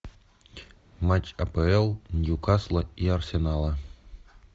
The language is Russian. матч апл ньюкасла и арсенала